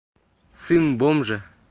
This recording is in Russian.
сын бомжа